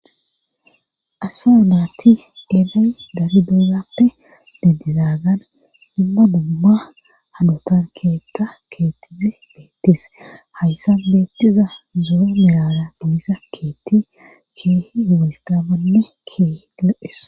asaa naati eelay dari bolappe deddedaagan dumma dumba hadotan keetka keettizi beettis hayssan beettiza zura milala dimisa keetti keehi woltamanne keehi lo7es